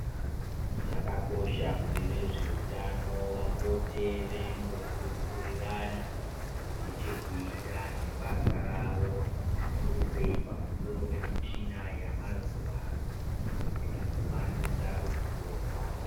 Zvakakosha kuti vezveutano vapote veimbokurukurirana zvine chekuita nebasa ravo zvikuru sei pamusoro pemichina yamazuwano kuitira kuvandudza ruzivo rwavo.